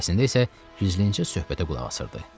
Əslində isə gizlicə söhbətə qulaq asırdı.